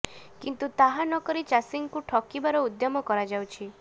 କିନ୍ତୁ ତାହା ନ କରି ଚାଷୀଙ୍କୁ ଠକିବାର ଉଦ୍ୟମ କରାଯାଉଛି